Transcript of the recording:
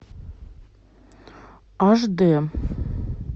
аш дэ